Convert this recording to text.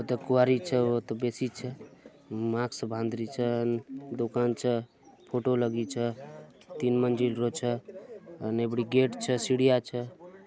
द क्वारी च बसी च मार्क्स बांदरी च दुकान च फोटो लगी च तीन मंजिल च गेट च सीढियां च